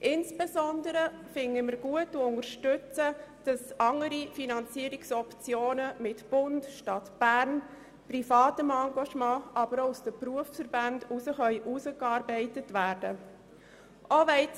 Insbesondere unterstützen wir, dass andere Finanzierungsoptionen unter Einbezug des Bundes, der Stadt Bern und privater Geldgeber, aber auch der Berufsverbände erarbeitet werden sollen.